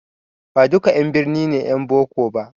Baduka 'yan birni ne 'yan boko ba